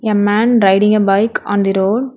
A man riding a bike on the road.